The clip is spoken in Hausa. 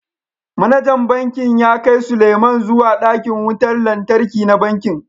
Manajan Bankin ya kai Sulieman zuwa dakin wutar lantarki na bankin